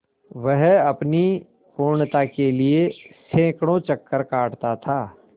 वह अपनी पूर्णता के लिए सैंकड़ों चक्कर काटता था